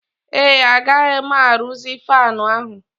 Ee, agaghị m arụzi fanụ ahụ.